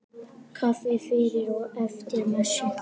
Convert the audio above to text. Kaffi fyrir og eftir messu.